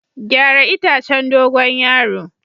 Gyara itacen dogon yaro.